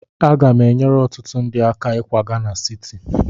Aga m enyere ọtụtụ ndị aka ịkwaga na siti.